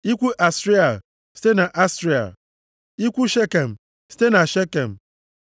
Ikwu Asriel, site na Asriel. Ikwu Shekem, site na Shekem.